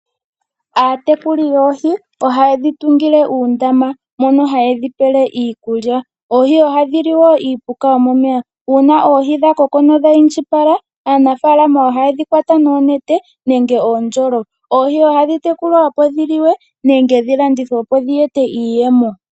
Aatekuli yoohi ohayedi tungile uundama mono hayedhi pele iikulya, oohi ohadhi li niipuka momeya. Uuna oohi dhakoko nodha indjipala aanafalama ohayedhi kwata noonete nenge noondjolo. Oohi ohadhi tekulwa opo dhiliwe nenge dhi landithwepo dhi ete iiyemo.